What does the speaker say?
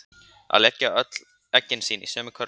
Að leggja öll eggin sín í sömu körfu